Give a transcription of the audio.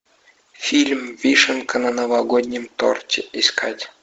фильм вишенка на новогоднем торте искать